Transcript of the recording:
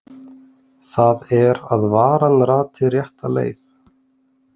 Það er að varan rati rétta leið.